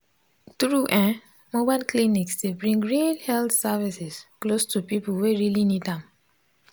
true eh mobile clinics dey bring real health services close to people wey really need am